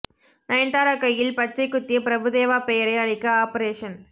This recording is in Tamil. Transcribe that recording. நயன்தாரா கையில் பச்சைக் குத்திய பிரபு தேவா பெயரை அழிக்க ஆபரேஷன்